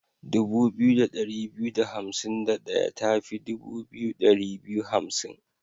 Dubu biyu da ɗari biyu da hansim da ɗaya ta fi dubu biyu ɗari biyu hansim.